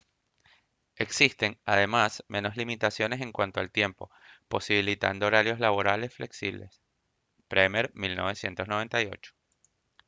existen además menos limitaciones en cuanto al tiempo posibilitando horarios laborales flexibles. bremer 1998